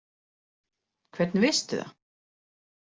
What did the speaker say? Hvernig veistu það?